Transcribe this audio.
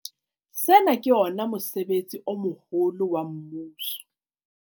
Sena ke ona mosebetsi o moholo wa mmuso.